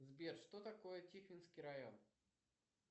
сбер что такое тихвинский район